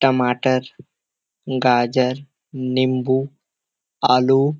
टमाटर गाजर नींबू आलू --